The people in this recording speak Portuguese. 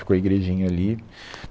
Ficou a igrejinha ali.